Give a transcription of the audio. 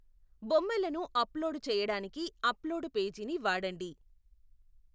బొమ్మలను అప్లోడు చెయ్యడానికి upload page ని వాడండి.